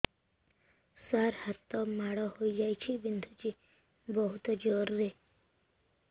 ସାର ହାତ ମାଡ଼ ହେଇଯାଇଛି ବିନ୍ଧୁଛି ବହୁତ ଜୋରରେ